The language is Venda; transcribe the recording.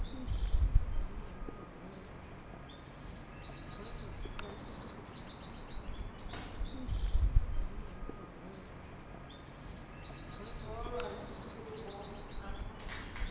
vhaaluwa ho ṅwalisiwaho nga fhasi